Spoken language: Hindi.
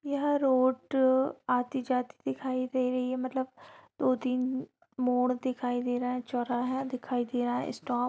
यह रोड आती जाती दिखाई दे रही है| मतलब दो तीन मोड़ दिखाई दे रहा है चौराहा दिखाई दे रहा है| स्टॉप --